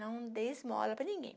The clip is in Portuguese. Não dê esmola para ninguém.